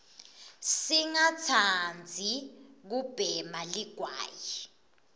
singa tsanbzi kubhema ligwayi